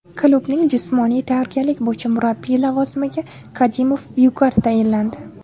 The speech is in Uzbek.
Klubning jismoniy tayyorgarlik bo‘yicha murabbiyi lavozimiga Kadimov Vyugar tayinlandi.